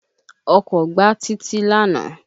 Ọkọ̀ gbá Títí lánàá